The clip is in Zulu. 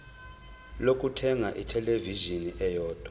lokuthenga ithelevishini eyodwa